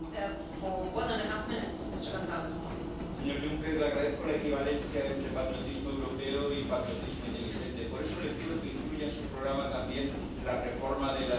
Señora presidenta, señor Juncker, le agradezco la equivalencia entre patriotismo europeo y patriotismo inteligente por eso le pido que incluya en su programa también la reforma de la euroorden.